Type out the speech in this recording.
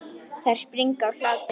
Þær springa úr hlátri.